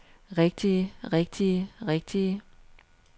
rigtige rigtige rigtige